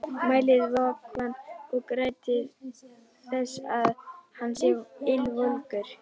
Mælið vökvann og gætið þess að hann sé ylvolgur.